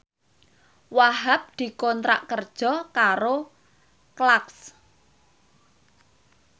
Wahhab dikontrak kerja karo Clarks